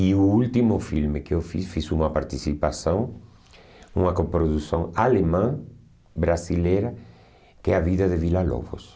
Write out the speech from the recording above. E o último filme que eu fiz, fiz uma participação, uma coprodução alemã, brasileira, que é A Vida de Villa-Lobos.